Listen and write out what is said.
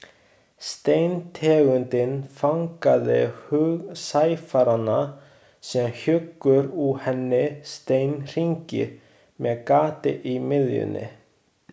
Steintegundin fangaði hug sæfaranna sem hjuggu úr henni steinhringi með gati í miðjunni.